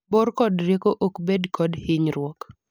bor kod rieko ok bed kod hinyruok